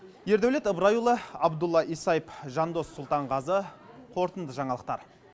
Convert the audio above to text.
ердәулет ыбырайұлы абдулла исаев жандос сұлтанғазы қорытынды жаңалықтар